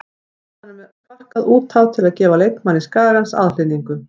Boltanum er sparkað út af til að gefa leikmanni Skagans aðhlynningu.